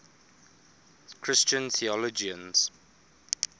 christian theologians